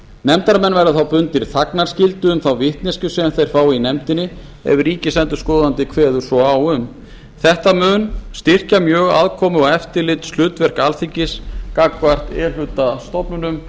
nefndarmenn verða þá bundnir þagnarskyldu um þá vitneskju sem þeir fá í nefndinni ef ríkisendurskoðandi kveður svo á um þetta mun styrkja mjög aðkomu og eftirlitshlutverk alþingis gagnvart e hluta stofnunum